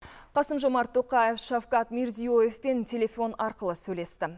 қасым жомарт тоқаев шавкат мирзиеевпен телефон арқылы сөйлесті